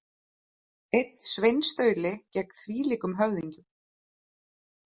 Einn sveinstauli gegn þvílíkum höfðingjum.